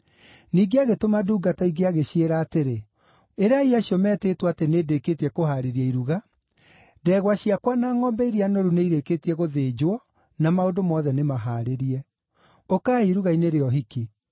“Ningĩ agĩtũma ndungata ingĩ agĩciĩra atĩrĩ, ‘Ĩrai acio metĩtwo atĩ nĩndĩkĩtie kũhaarĩria iruga: Ndegwa ciakwa na ngʼombe iria noru nĩirĩkĩtie gũthĩnjwo na maũndũ mothe nĩmahaarĩrie. Ũkai iruga-inĩ rĩa ũhiki.’